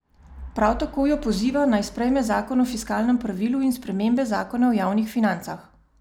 Prav tako jo poziva, naj sprejme zakon o fiskalnem pravilu in spremembe zakona o javnih financah.